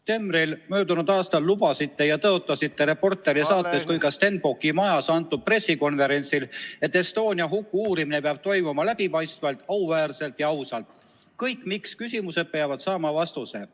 Detsembris möödunud aastal te lubasite ja tõotasite nii "Reporteri" saates kui ka Stenbocki majas antud pressikonverentsil, et Estonia huku uurimine peab toimuma läbipaistvalt, auväärselt ja ausalt, kõik miks-küsimused peavad saama vastuse.